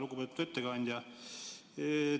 Lugupeetud ettekandja!